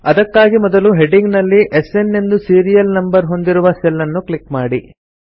ಅದಕ್ಕಾಗಿ ಮೊದಲು ಹೆಡ್ಡಿಂಗ್ ನಲ್ಲಿ ಎಸ್ಎನ್ ಎಂದು ಸೀರಿಯಲ್ ನಂಬರ್ ಹೊಂದಿರುವ ಸೆಲ್ ಅನ್ನು ಕ್ಲಿಕ್ ಮಾಡಿ